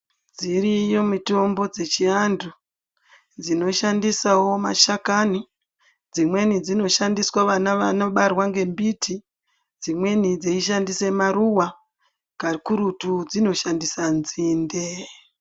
Dziriyo mitombo dzechiantu dzinoshandisawo mashakani. Dzimweni dzinoshandiswa vana vanobarwa ngembiti. Dzimweni dzeishandise maruva kakurutu dzinoshandise nzinde.